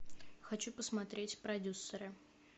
хочу посмотреть продюсеры